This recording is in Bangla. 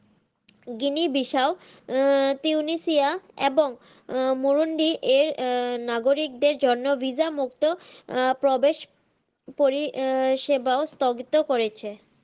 গিনি বিসাউ আহ তিউনেসিয়া এবং আহ মুরুণ্ডি এর আহ নাগারিক দের জন্য VISA মুক্ত আহ প্রবেশ পরি আহ সেবাও স্থগিদও করেছে।